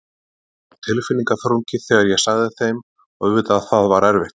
Það var tilfinningaþrungið þegar ég sagði þeim og auðvitað það var erfitt.